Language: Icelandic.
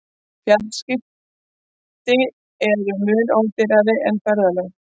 Fjarskipti eru mun ódýrari en ferðalög.